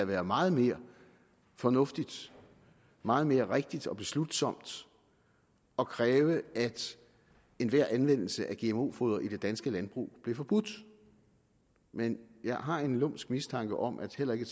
være meget mere fornuftigt meget mere rigtigt og beslutsomt at kræve at enhver anvendelse af gmo foder i det danske landbrug blev forbudt men jeg har en lumsk mistanke om at heller ikke